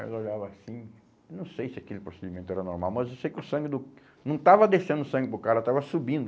Aí eu olhava assim, não sei se aquele procedimento era normal, mas eu sei que o sangue do... Não estava descendo o sangue para o cara, estava subindo.